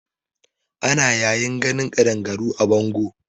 Ana yawan ganin kaɗangaru a bango.